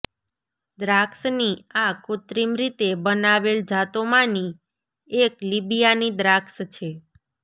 દ્રાક્ષની આ કૃત્રિમ રીતે બનાવેલ જાતોમાંની એક લિબિયાની દ્રાક્ષ છે